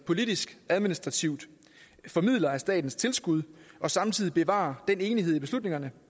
politisk administrativ formidler af statens tilskud og samtidig bevare den enighed i beslutningerne